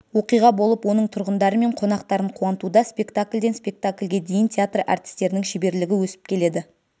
оқиға болып оның тұрғындары мен қонақтарын қуантуда спектакльден спектакльге дейін театр әртістерінің шеберлігі өсіп келеді